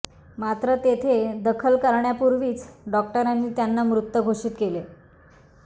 मात्र तेथे दाखल करण्यापूर्वीच डॉक्टरांनी त्यांना मृत घोषित केले